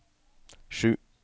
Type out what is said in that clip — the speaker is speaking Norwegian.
sju